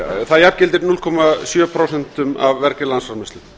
það jafngildir núll komma sjö prósent af vergri landsframleiðslu